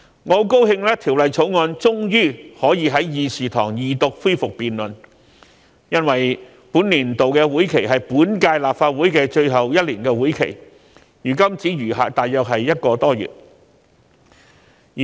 我很高興《條例草案》終於可以在議事堂上恢復二讀辯論，因為今年是本屆立法會的最後一年，本年度的會期如今只餘下大約一個多月。